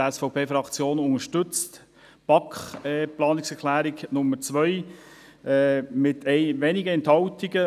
Die SVP-Fraktion unterstützt die Planungserklärung 2 der BaK mit wenigen Enthaltungen;